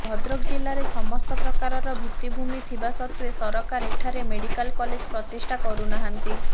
ଭଦ୍ରକ ଜିଲ୍ଲାରେ ସମସ୍ତ ପ୍ରକାରର ଭିତ୍ତିଭୂମି ଥିବା ସତ୍ତ୍ୱେ ସରକାରୀ ଏଠାରେ ମେଡିକାଲ କଲେଜ ପ୍ରତିଷ୍ଠା କରୁନାହାନ୍ତି